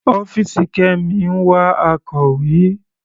Ọ́fìsì Kemi ń wá akọ̀wé.